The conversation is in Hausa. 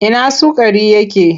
Ina sukari yake?